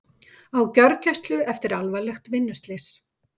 Á gjörgæslu eftir alvarlegt vinnuslys